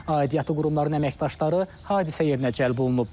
Aidiyyatı qurumların əməkdaşları hadisə yerinə cəlb olunub.